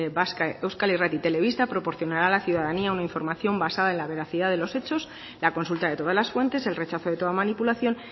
vasca euskal irrati telebista proporcionará a la ciudadanía una información basada en la veracidad de los hechos la consulta de todas las fuentes el rechazo de toda manipulación